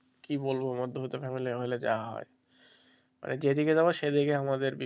কি বলবো মধ্যবিত্ত family হলে যা হয় মানে যেদিকেই যাবে সেদিকে আমাদেরকে,